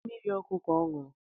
Mmiri ọkụ ka ọ ṅụrụ